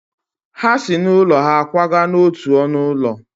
Ha si n’ụlọ ha kwaga n’otu ọnụ ụlọ.